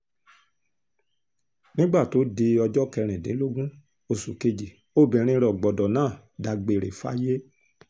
nígbà tó di ọjọ́ kẹrìndínlógún oṣù kejì obìnrin rògbòdo náà dágbére fáyé